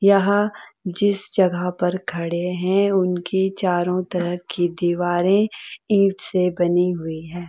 यह जिस जगह पर खड़े हैं उनकी चारो तरफ की दीवारें ईंट से बनी हुई हैं।